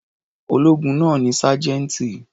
Ológun náà ni sájẹ́ńtì.